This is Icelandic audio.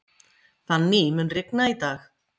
Fanny, mun rigna í dag?